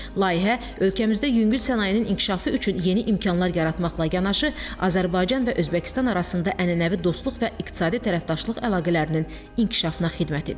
Layihə ölkəmizdə yüngül sənayenin inkişafı üçün yeni imkanlar yaratmaqla yanaşı, Azərbaycan və Özbəkistan arasında ənənəvi dostluq və iqtisadi tərəfdaşlıq əlaqələrinin inkişafına xidmət edir.